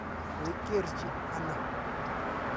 Koi kerchi ano?